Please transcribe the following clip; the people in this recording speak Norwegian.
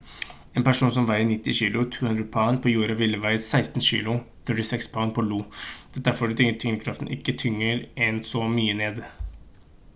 en person som veier 90 kg 200 pund på jorda ville veid rundt 16 kg 36 pund på io. dette er fordi tyngdekraften ikke tynger en så mye ned